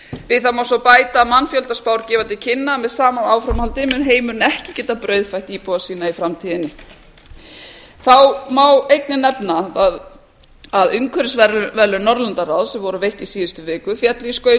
við það má svo bæta að mannfjöldaspár gefa til kynna að með sama áframhaldi mun heimurinn ekki geta brauðfætt íbúa sína í framtíðinni þá má einnig nefna að umhverfisverðlaun norðurlandaráðs sem voru veitt í síðustu viku féllu í skaut